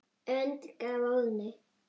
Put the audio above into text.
önd gaf Óðinn